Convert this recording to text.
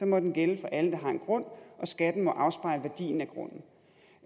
må den gælde for alle der har en grund og skatten må afspejle værdien